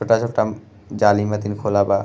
छोटा-छोटा जाली माथिनखोला बा।